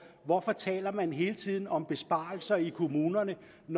hvorfor taler man hele tiden om besparelser i kommunerne når